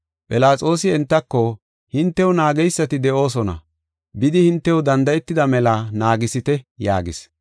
Philaxoosi entako, “Hintew naageysati de7oosona; bidi hintew danda7etida mela naagisite” yaagis.